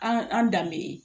An an danbe ye